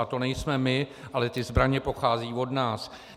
A to nejsme my, ale ty zbraně pocházejí od nás.